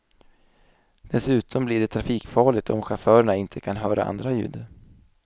Dessutom blir det trafikfarligt om chaufförerna inte kan höra andra ljud.